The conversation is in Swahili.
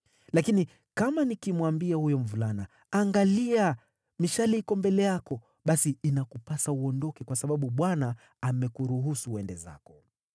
Lakini kama nikimwambia huyo mvulana, ‘Angalia, mishale iko mbele yako,’ basi inakupasa uondoke, kwa sababu Bwana amekuruhusu uende zako.